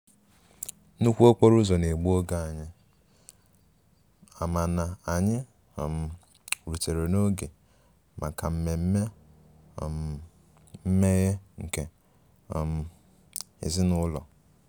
nnukwu okporo ụzọ na-egbu oge anyị, mana anyị um rutere n'oge maka mmemme um mmeghe nke um ezinụlọ